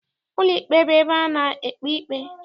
Ụlọikpe bụ ebe a na-ekpe ikpe.